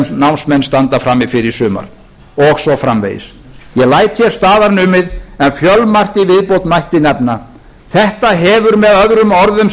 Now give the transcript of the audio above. sem námsmenn standa frammi fyrir í sumar og svo framvegis ég læt hér staðar numið en fjölmargt í viðbót mætti nefna þetta hefur möo